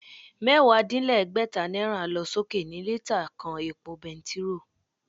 Mẹ́wàá-dín-lẹ́gbẹ́ta náírà lọ sókè ní lítà kan epo bentiróò